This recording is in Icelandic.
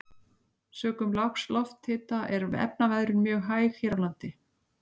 Sökum lágs lofthita er efnaveðrun mjög hæg hér á landi.